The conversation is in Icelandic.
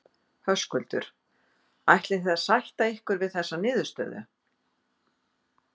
Höskuldur: Ætlið þið að sætta ykkur við þessa niðurstöðu?